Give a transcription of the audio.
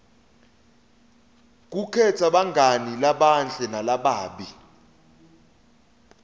kukhetsa bangani labahle nalababi